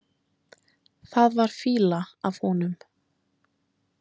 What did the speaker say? Það var fýla af honum.